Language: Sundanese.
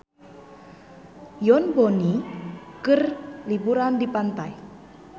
Yoon Bomi keur liburan di pantai